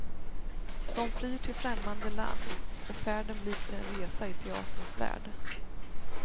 De flyr till främmande land och färden blir till en resa i teaterns värld.